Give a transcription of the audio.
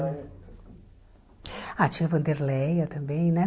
Ah, tinha Wanderleia também, né?